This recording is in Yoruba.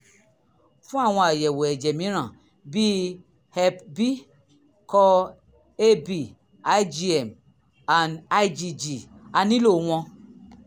fún àwọn àyẹ̀wò ẹ̀jẹ̀ mìíràn bíi hep b core ab igm and igg a nílò wọn